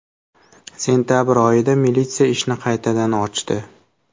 Sentabr oyida militsiya ishni qaytadan ochdi.